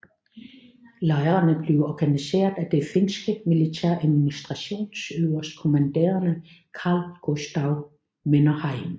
Lejrene blev organiseret af den finske militæradministrations øverstkommanderende Carl Gustaf Mannerheim